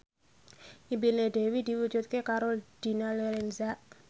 impine Dewi diwujudke karo Dina Lorenza